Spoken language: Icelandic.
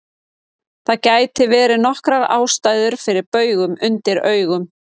Það geta verið nokkrar ástæður fyrir baugum undir augum.